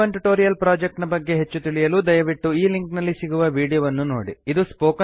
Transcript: ಈ spoken tutorial project ನ ಬಗ್ಗೆ ಹೆಚ್ಚು ತಿಳಿಯಲು ದಯವಿಟ್ಟು ಈ ಲಿಂಕ್ ನಲ್ಲಿ ಸಿಗುವ ವೀಡಿಯೋ ವನ್ನು ನೋಡಿ